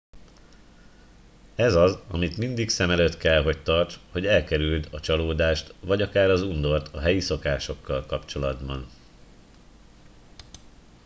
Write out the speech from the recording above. ez az amit mindig szem előtt kell hogy tarts hogy elkerüld a csalódást vagy akár az undort a helyi szokásokkal kapcsolatban